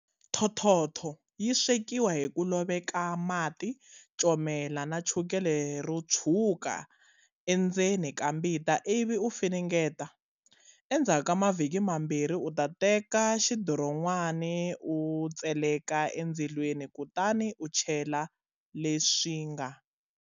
Thothotho yi swekiwa hi ku loveka mati, comela na chukele ro tshwuka endzeni ka mbita, ivi u funengeta. Endzhaku ka mavhiki mambirhi u ta teka xidiron'wana u tseleka endzilweni, kutani u chela leswi nga.